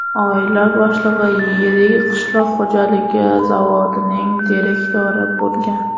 Oila boshlig‘i yirik qishloq xo‘jaligi zavodining direktori bo‘lgan.